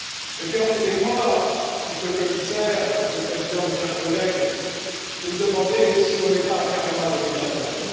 Mais permettez moi, Monsieur le Commissaire, Monsieur le Président, chers collègues, de me demander si nous ne sommes pas carrément à côté de la plaque.